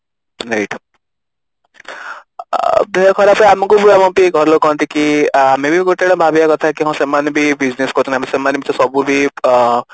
ଆଁ ଦେହ ଖରାପ ଆମକୁ ହୁଏ ଆମ ଘର ଲୋକ କହନ୍ତି କି ଆମେ ବି ଗୋଟେ ଭାବିବା କଥା କି ହଁ ସେମାନେ ବି business କରୁଛନ୍ତି ସେମାନେ ବି ତ ସବୁ ବି ଆଁ